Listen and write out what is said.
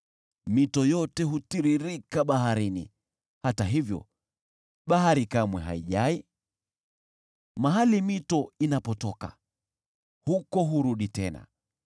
Mito yote hutiririka baharini, hata hivyo bahari kamwe haijai. Mahali mito inapotoka, huko hurudi tena.